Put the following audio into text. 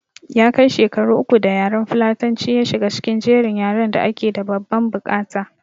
Ya kai shekaru uku da yaran fulatanci ya shiga cikin jerin yaran da ake da babban bukata